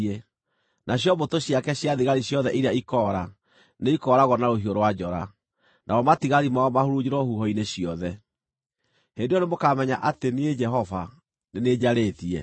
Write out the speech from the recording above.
Nacio mbũtũ ciake cia thigari ciothe iria ikoora nĩikooragwo na rũhiũ rwa njora, namo matigari mao mahurunjĩrwo huho-inĩ ciothe. Hĩndĩ ĩyo nĩmũkamenya atĩ niĩ Jehova nĩ niĩ njarĩtie.